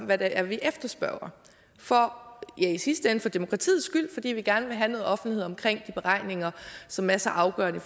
hvad det er vi efterspørger for ja i sidste ende demokratiets skyld fordi vi gerne vil have noget offentlighed omkring de beregninger som er så afgørende i